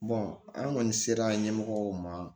an kɔni sera ɲɛmɔgɔw ma